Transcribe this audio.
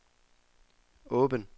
åben